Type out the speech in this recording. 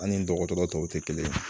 An ni dɔgɔtɔrɔ tɔw tɛ kelen ye